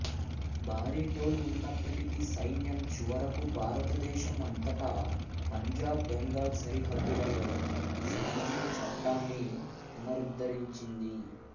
భారీ టోల్ ఉన్నప్పటికీ సైన్యం చివరకు భారతదేశం అంతటా పంజాబ్ బెంగాల్ సరిహద్దులలో శాంతిని చట్టాన్ని పునరుద్ధరించింది